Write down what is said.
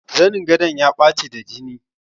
Zanin gadon ya ɓaci da jini.